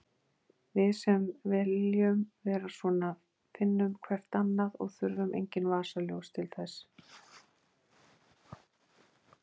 Við sem viljum vera svona finnum hvert annað og þurfum engin vasaljós til þess.